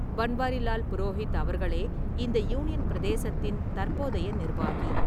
பன்வாரிலால் புரோஹித் அவர்களே இந்த யூனியன் பிரதேசத்தின் தற்போதைய நிர்வாகி.